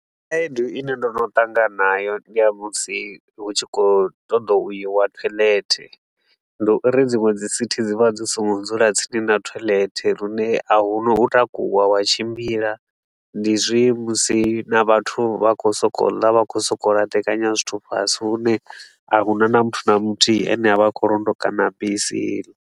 Khaedu i ne ndo no ṱangana nayo ndi ya musi hu tshi khou ṱoḓa u iwa toilet. Ndi u ri dziṅwe dzi sithi dzi vha dzi so ngo dzula tsini na toilet lune a hu na u takuwa wa tshimbila, ndi zwe musi na vhathu vha khou so ko u ḽa, vha khou so ko u laṱekanya zwithu fhasi hune a huna na muthu na muthihi a ne a vha a khou londota mabisi.